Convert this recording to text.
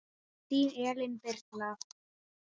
Þín Elín Birna.